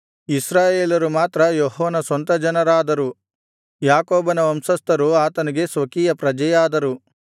ಇಸ್ರಾಯೇಲರು ಮಾತ್ರ ಯೆಹೋವನ ಸ್ವಂತ ಜನರಾದರು ಯಾಕೋಬನ ವಂಶಸ್ಥರು ಆತನಿಗೆ ಸ್ವಕೀಯ ಪ್ರಜೆಯಾದರು